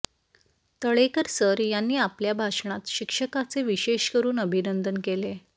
Talekar sir यांनी आपल्या भाषणात शिक्षकाचे विशेष करून अभिनंदन केले